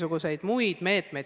Lugupeetud minister, aitäh!